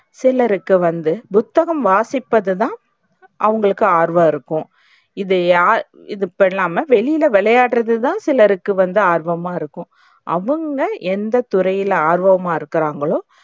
சிலருக்கு வந்து புத்தகம் வாசிப்பதுதான் அவங்களுக்கு ஆர்வம் இருக்கும். இது யார் இதில்லாம வெளில விளையாடுறதுதான் சிலருக்கு ஆர்வமா இருக்கும். அவங்க எந்த துறைல ஆர்வமா இருக்குறாங்களோ,